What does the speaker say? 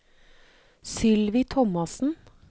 Sylvi Thomassen